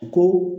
Ko